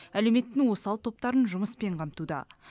әлеуметтің осал топтарын жұмыспен қамтуда